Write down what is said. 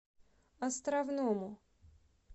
островному